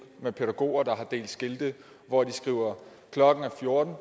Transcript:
med pædagoger der har delt skilte hvor de skriver klokken er fjorten